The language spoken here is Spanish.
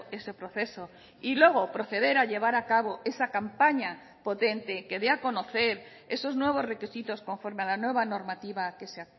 ese proceso y luego proceder a llevar a cabo esa campaña potente que dé a conocer esos nuevos requisitos conforme a la nueva normativa que se